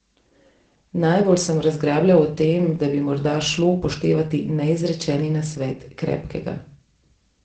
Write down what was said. Najbolj sem razglabljal o tem, da bi morda šlo upoštevati neizrečeni nasvet Krepkega.